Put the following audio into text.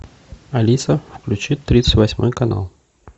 алиса включи тридцать восьмой канал